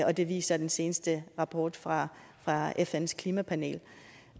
og det viser den seneste rapport fra fns klimapanel